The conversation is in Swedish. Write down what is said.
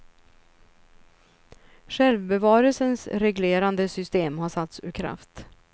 Självbevarelsens reglerande system har satts ur kraft.